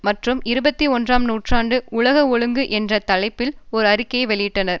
மற்றும் இருபத்தி ஒன்றாம் நூற்றாண்டு உலக ஒழுங்கு என்ற தலைப்பில் ஒரு அறிக்கை வெளியிட்டனர்